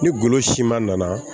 Ni golo siman nana